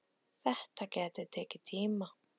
Þetta gæti tekið tíma.